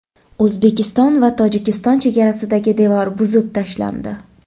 O‘zbekiston va Tojikiston chegarasidagi devor buzib tashlandi.